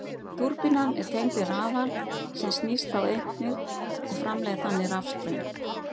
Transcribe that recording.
Túrbínan er tengd við rafal sem snýst þá einnig og framleiðir þannig rafstraum.